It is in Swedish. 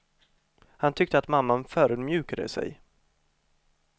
Han tyckte att mamman förödmjukade sig.